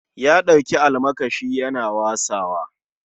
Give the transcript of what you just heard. Ya ɗauki almakashi Yana wasawa